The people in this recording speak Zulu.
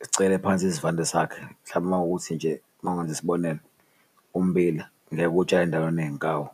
zicekele phansi isivande sakhe. Mhlambe makuwukuthi nje mawungenza isibonelo, ummbila ngeke uwutshale endaweni eney'nkawu.